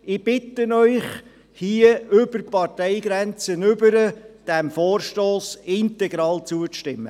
Ich bitte Sie, hier über die Parteigrenze hinweg, diesem Vorstoss integral zuzustimmen.